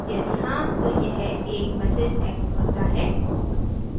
यदि हाँ तो यह एक message echoes करता है